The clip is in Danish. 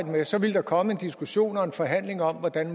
med så ville der komme en diskussion og en forhandling om hvordan